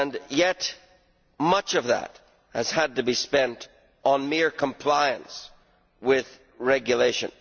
Yet much of that has had to be spent on mere compliance with regulation.